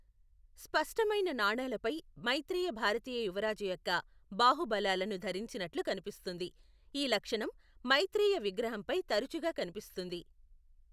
స్పష్టమైన నాణేలపై, మైత్రేయ భారతీయ యువరాజు యొక్క బాహుబలాలను ధరించినట్లు కనిపిస్తుంది, ఈ లక్షణం మైత్రేయ విగ్రహంపై తరచుగా కనిపిస్తుంది.